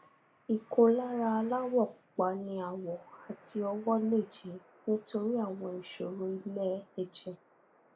ìkólára aláwọ pupa ní àwọ àti ọwọ lè jẹ nítorí àwọn ìṣòro ilẹ ẹjẹ